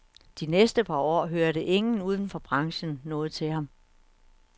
De næste par år hørte ingen uden for branchen noget til ham.